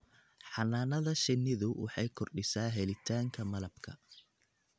Xannaanada shinnidu waxay kordhisaa helitaanka malabka.